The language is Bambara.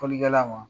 Fɔlikɛla ma